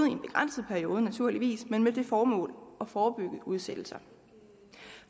en begrænset periode naturligvis men med det formål at forebygge udsættelser